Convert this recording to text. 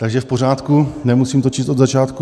Takže v pořádku, nemusím to číst od začátku...